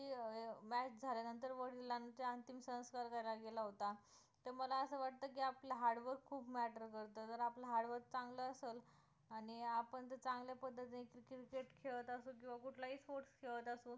match झाल्या नंतर वडिलांचे अंतिम संस्कार करायला गेला होता तर मला असं वाटतं की आपला hard work खूप matter करतं जर आपलं hard work चांगलं असेल आणि आपण जर चांगल्या पद्धतीने cricket खेळत असू किंवा कुठला ही sports खेळत असू